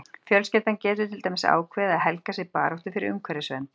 Fjölskyldan getur til dæmis ákveðið að helga sig baráttu fyrir umhverfisvernd.